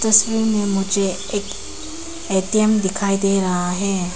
तस्वीर मे मुझे एक ए_टी_एम दिखाई दे रहा है।